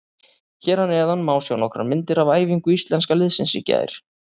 Hér að neðan má sjá nokkrar myndir af æfingu Íslenska liðsins í gær.